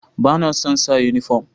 Ba na son sa uniform.